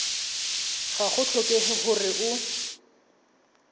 ga go tlhokege gore o